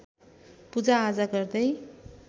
पूजाआजा गर्दै